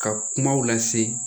Ka kumaw lase